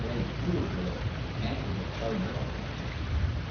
Bəy, buyur görək, qənd və çay nə vaxt gələcək?